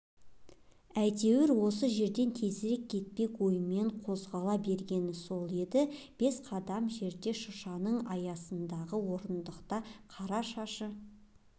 әйтеуір осы жерден тезірек кетпек оймен қозғала бергені сол еді бес қадамдай жерде шыршаның саясындағы орындықта қара шашы